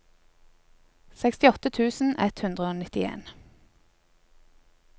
sekstiåtte tusen ett hundre og nittien